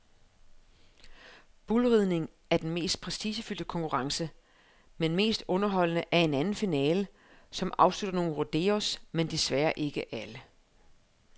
Bullriding er den mest prestigefyldte konkurrence, men mest underholdende er en anden finale, som afslutter nogle rodeos, men desværre ikke alle.